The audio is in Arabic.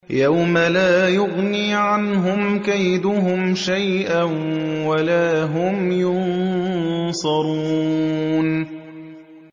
يَوْمَ لَا يُغْنِي عَنْهُمْ كَيْدُهُمْ شَيْئًا وَلَا هُمْ يُنصَرُونَ